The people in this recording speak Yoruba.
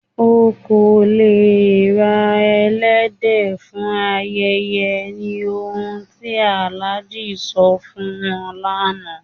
Ọ̀ kò lẹ̀ rà èlẹ́dẹ̀ fún ayẹyẹ, ní ọ̀hun ti Alhaji sọ̀ fún wọn lánà